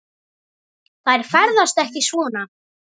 Þær ferðast ekki svona.